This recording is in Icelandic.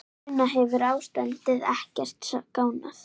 Una, hefur ástandið ekkert skánað?